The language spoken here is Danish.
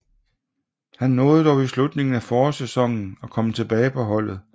Han nåede dog i slutningen af forårssæsonen at komme tilbage på holdet